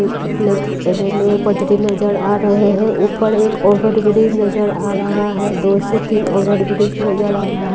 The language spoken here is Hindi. उ प्लैटफ अ रेलवे पटरी नजर आ रहा है ऊपर एक ओवरब्रिज नजर आ रहा है दो से तीन ओवरब्रिज नजर आ रहा --